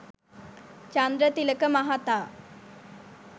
චන්ද්‍රතිලක මහතා